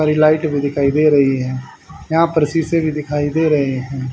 Light भी दिखाई दे रही है यहां पर शीशे भी दिखाई दे रहे हैं।